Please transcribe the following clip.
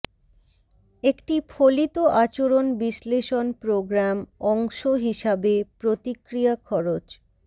একটি ফলিত আচরণ বিশ্লেষণ প্রোগ্রাম অংশ হিসাবে প্রতিক্রিয়া খরচ